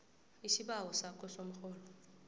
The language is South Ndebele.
isibawo sakho somrholo